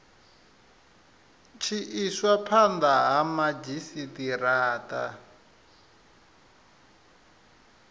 tshi iswa phanda ha madzhisitarata